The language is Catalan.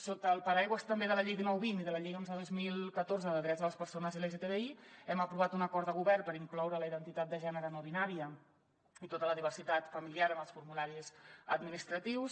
sota el paraigua també de la llei dinou vint i de la llei onze dos mil catorze de drets de les persones lgtbi hem aprovat un acord de govern per incloure la identitat de gènere no binària i tota la diversitat familiar en els formularis administratius